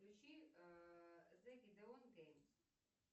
включи зе гидеон геймс